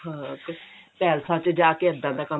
ਹਾਂ ਪੇਲਸਾਂ ਚ ਜਾ ਕੇ ਇੱਦਾਂ ਦਾ ਕੰਮ